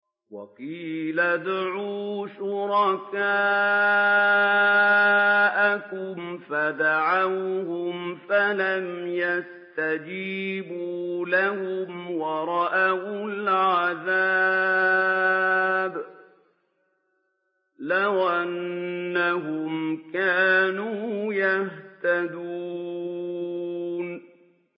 وَقِيلَ ادْعُوا شُرَكَاءَكُمْ فَدَعَوْهُمْ فَلَمْ يَسْتَجِيبُوا لَهُمْ وَرَأَوُا الْعَذَابَ ۚ لَوْ أَنَّهُمْ كَانُوا يَهْتَدُونَ